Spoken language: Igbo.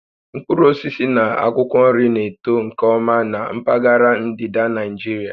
Mkpụrụ osisi na akwụkwọ nri na-eto nke ọma na mpaghara ndịda Naịjirịa